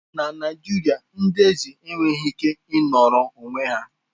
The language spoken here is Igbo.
Na Naijiria, ndị eze enweghị ike ịnọrọ onwe ha.